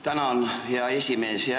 Tänan, hea esimees!